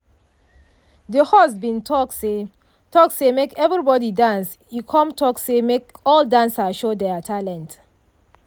de host bin talk say talk say make everybody dance e come talk say make all dancer show their talent.